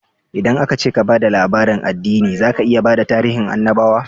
Idan aka ce ka ba da labarin addini, zaka iya bada tarihin annabawa